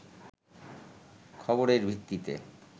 খবরের ভিত্তিতে